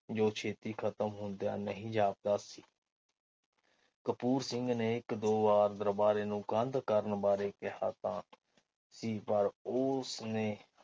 ਜੋ ਛੇਤੀ ਖ਼ਤਮ ਹੁੰਦਿਆਂ ਨਹੀਂ ਜਾਪਦਾ ਸੀ ਕਪੂਰ ਸਿੰਘ ਨੇ ਇਕ ਦੋ ਵਾਰ ਦਰਬਾਰੇ ਨੂੰ ਕੰਧ ਕਰਨ ਬਾਰੇ ਕਿਹਾ ਤਾ ਸੀ ਪਰ ਉਹ ਉਸਨੇ